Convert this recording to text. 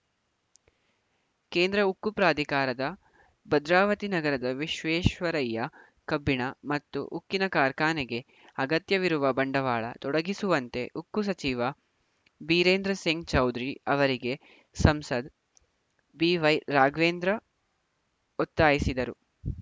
ಕೇಂದ್ರ ಉಕ್ಕು ಪ್ರಾಧಿಕಾರದ ಭದ್ರಾವತಿ ನಗರದ ವಿಶ್ವೇಶ್ವರಯ್ಯ ಕಬ್ಬಿಣ ಮತ್ತು ಉಕ್ಕಿನ ಕಾರ್ಖಾನೆಗೆ ಅಗತ್ಯವಿರುವ ಬಂಡವಾಳ ತೊಡಗಿಸುವಂತೆ ಉಕ್ಕು ಸಚಿವ ಬೀರೇಂದ್ರ ಸಿಂಗ್‌ ಚೌಧರಿ ಅವರಿಗೆ ಸಂಸದ್ ಬಿವೈ ರಾಘವೇಂದ್ರ ಒತ್ತಾಯಿಸಿದರು